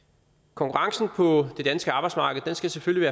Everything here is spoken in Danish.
konkurrencen på det danske arbejdsmarked skal selvfølgelig